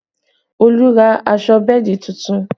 Olu ra aṣọ bẹ́ẹ̀dì tuntun